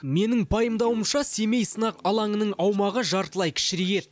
менің пайымдауымша семей сынақ алаңының аумағы жартылай кішірейеді